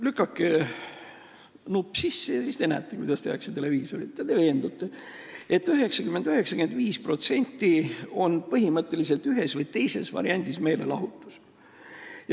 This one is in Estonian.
Lükake nupp sisse ja siis te näete, kuidas tehakse televisiooni: te veendute, et 90–95% on põhimõtteliselt meelelahutus ühes või teises variandis.